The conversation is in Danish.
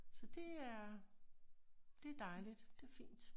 Så det er det dejlgit det fint